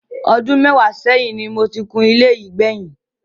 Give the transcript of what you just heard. Ọdú mẹ́wàá ṣẹ́yìn ni mo ti kun ilé yìí gbẹ̀yìn.